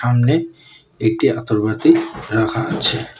সামনে একটি আতরবাতি রাখা আছে।